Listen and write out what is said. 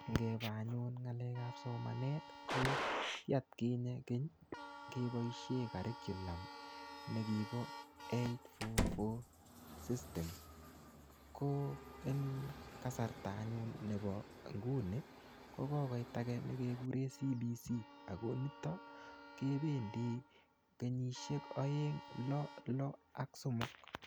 Ngeba anyun ng'alekap somanet, ko ki atkinye keny, kebosie curriculum nekibo eight-four-four system. Ko eng kasarta anyun nebo nguni, ko kokoit age ne kekure CBC. Ako niton, kebendi kenyisiek aeng-lo-lo ak somok.